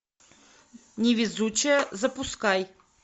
невезучая запускай